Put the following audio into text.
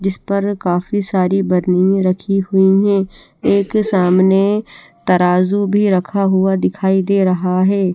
जिस पर काफी सारी बन्नी रखी हुयी हे एक सामने तराजू भी रखा हुआ दिखाई दे रहा हैं।